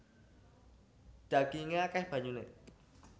Dhagingé akèh banyuné